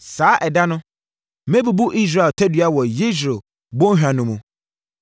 Saa ɛda no, mɛbubu Israel tadua wɔ Yesreel bɔnhwa no mu.”